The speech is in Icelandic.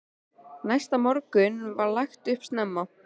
Næsta morgun var lagt upp snemma.